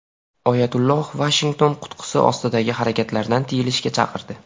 Oyatulloh Vashington qutqusi ostidagi harakatlardan tiyilishga chaqirdi.